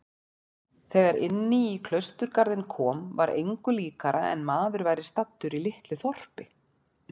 Þegar inní klausturgarðinn kom var engu líkara en maður væri staddur í litlu þorpi.